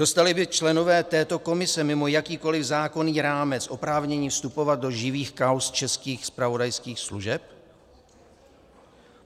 Dostali by členové této komise mimo jakýkoliv zákonný rámec oprávnění vstupovat do živých kauz českých zpravodajských služeb?